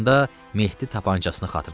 Onda Mehdi tapançasını xatırladı.